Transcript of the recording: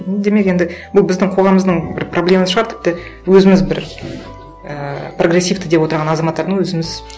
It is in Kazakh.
м демек енді бұл біздің қоғамымыздың бір проблемасы шығар тіпті өзіміз бір ііі прогрессивті деп отырған азаматтарды өзіміз